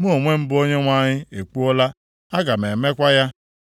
Mụ onwe m bụ Onyenwe anyị, ekwuola, aga m emekwa ya.’